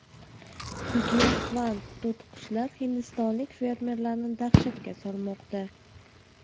Giyohvand to‘tiqushlar hindistonlik fermerlarni dahshatga solmoqda.